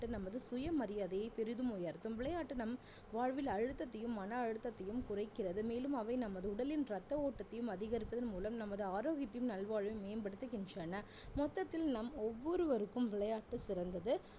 வாழ்வில் அழுத்தத்தையும் மன அழுத்தத்தையும் குறைக்கிறது மேலும் அவை நமது உடலின் ரத்த ஓட்டத்தையும் அதிகரிப்பதன் மூலம் நமது ஆரோக்கியத்தின் நல்வாழ்வு மேம்படுத்துகின்றன மொத்தத்தில் நம் ஒவ்வொருவருக்கும் விளையாட்டு சிறந்தது